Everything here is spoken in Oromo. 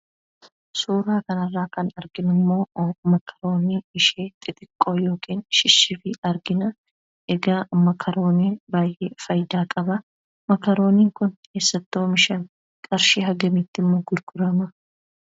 Suuraa kana irraa kan arginu immoo 'makaroonii' ishee xixiqqoo yookiin 'shif-shifii' argina. Egaa 'makaroonii'n baay'ee faayidaa qaba. 'Makaroonii'n kun eessatti oomishame? Qarshii hangamiitti immoo gurgurama?